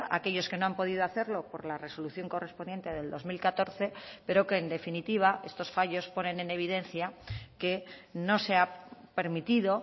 aquellos que no han podido hacerlo por la resolución correspondiente del dos mil catorce pero que en definitiva estos fallos ponen en evidencia que no se ha permitido